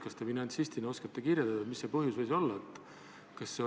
Kas te finantsistina oskate öelda, mis see põhjus võis olla?